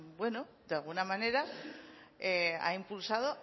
de alguna manera ha impulsado